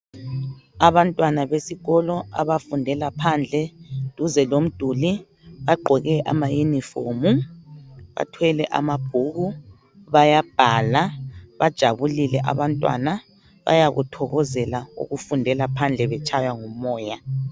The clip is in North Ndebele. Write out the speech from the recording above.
Abantwana besikolo abafundela phandle duze lomduli bagqoke ama yunifomu bathwele amabhuku bayabhala, bajabulile abantwana bayakuthokozela ukufundela phandle betshaywa ngumoya.